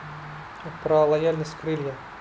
про лояльность крылья